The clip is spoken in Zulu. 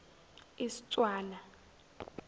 istswana